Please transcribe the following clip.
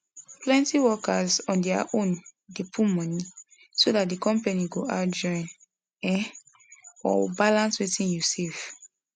plenty workers on their own dey put money so that the company go add join um or balance wetin you save